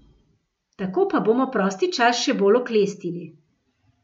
Tako pa bomo prosti čas še bolj oklestili.